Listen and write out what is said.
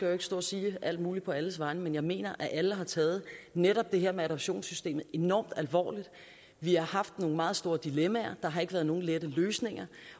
jo ikke stå og sige alt muligt på alles vegne men jeg mener at alle har taget netop det her med adoptionssystemet enormt alvorligt vi har nogle meget store dilemmaer der har ikke være nogen lette løsninger